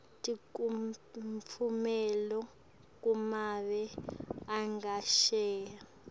tekutfumela kumave angesheya